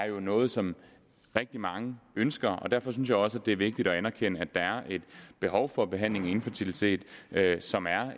jo er noget som rigtig mange ønsker derfor synes jeg også at det er vigtigt at erkende at der er et behov for behandling af infertilitet som er